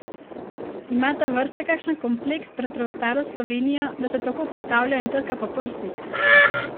Ima ta vrsta kakšen kompleks pred preostalo Slovenijo, da se tako postavlja in trka po prsih?